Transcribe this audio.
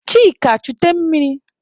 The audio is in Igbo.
Chika chute mmiri!